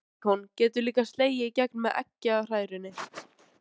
Gott beikon getur líka slegið í gegn með eggjahrærunni.